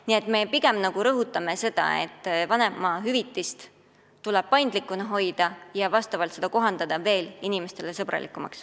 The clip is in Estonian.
Nii et me pigem rõhutame seda, et vanemahüvitis tuleb paindlikuna hoida ja muuta see veel inimesesõbralikumaks.